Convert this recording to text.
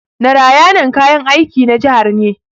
Narayanan kayan aiki na jihar ne.